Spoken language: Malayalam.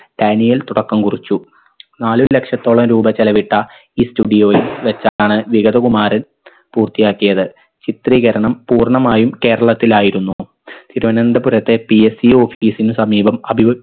ഡാനിയൽ തുടക്കം കുറിച്ചു നാല് ലക്ഷത്തോളം രൂപ ചെലവിട്ട ഈ studio യിൽ വെച്ചാണ് വികതകുമാരൻ പൂർത്തിയാക്കിയത് ചിത്രീകരണം പൂർണമായും കേരളത്തിലായിരുന്നു തിരുവനന്തപുരത്തെ PSEoffice ന് സമീപം അത്